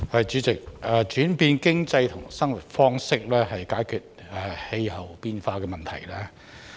主席，轉變經濟和生活方式可解決氣候變化的問題。